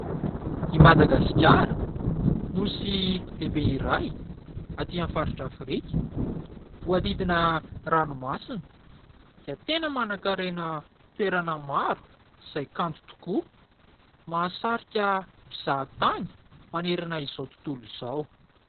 I Madagasikara, nosy lehibe iray aty amin'ny faritra Afrika. Voahodidina ranomasina, dia tena manankarena toerana maro izay kanto tokoa. Mahasarika mpizahatany manerana izao tontolo izao.